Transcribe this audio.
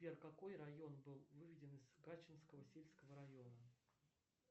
сбер какой район был выведен из качинского сельского района